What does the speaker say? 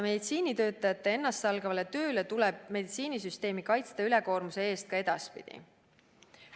Meditsiinitöötajad on teinud ennastsalgavat tööd ja meil tuleb meditsiinisüsteemi ülekoormuse eest kaitsta ka edaspidi.